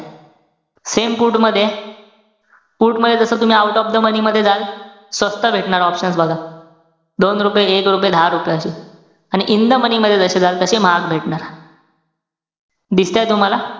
Same put मधेय. put मध्ये जस तुम्ही out of the money मध्ये जाल, स्वस्त भेटणार options बघा. दोन रुपये, एक रुपये, दहा रुपये अशे. आणि in the money मध्ये जशे जाल तशे महाग भेटणार. दिसतंय तुम्हाला?